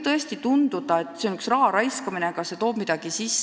Tõesti võib tunduda, et see on üks raha raiskamine, aga see toob ka midagi sisse.